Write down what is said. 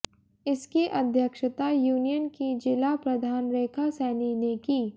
इसकी अध्यक्षता यूनियन की जिला प्रधान रेखा सैनी ने की